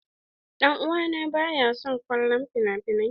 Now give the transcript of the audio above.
Dan uwa na baya son kallon finafinai.